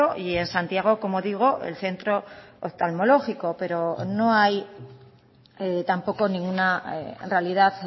y en santiago como digo el centro oftalmológico pero no hay tampoco ninguna realidad